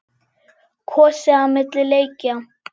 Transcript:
Kosið á milli leikja?